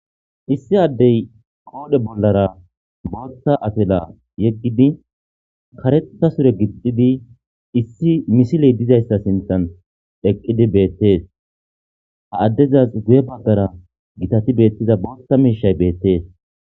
Issi addey qoore bollara booththa afela yeggidi kareta sure gixxidi issi misiliy diza issa sinthan eqqidi beettees. Ha addezasi guye baggara gitati beettiza booththa miishay beettees.